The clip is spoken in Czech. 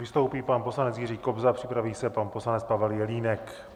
Vystoupí pan poslanec Jiří Kobza, připraví se pan poslanec Pavel Jelínek.